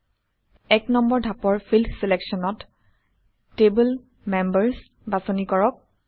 ১ নম্বৰ ধাপৰ ফিল্ড চিলেকশ্যনত Table মেম্বাৰ্ছ বাছনি কৰক